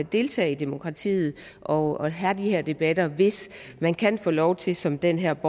deltage i demokratiet og have de her debatter hvis man kan få lov til som den her